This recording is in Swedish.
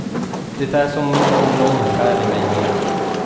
Det är som om nån skär i mej med.